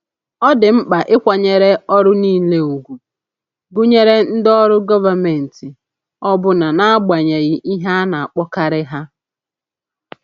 Ọ dị mkpa ịkwanyere ọrụ niile ùgwù, gụnyere ndị ọrụ gọvanmentị, ọbụna n’agbanyeghị ihe a na-akpọkarị ha.